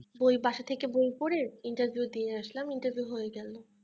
বই বাসা থেকে বই পড়ে interview দিয়ে আসলাম interview হয়ে গেলো